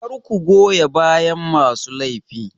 Kar ku goya bayan masu laifi.